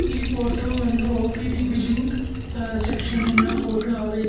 ಈ ಫೋಟೋ ಒಂದು O P D billing ಅ ಸೆಕ್ಷನಿ ನ ಫೋಟೋ ಆಗೈತೆ.